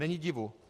Není divu.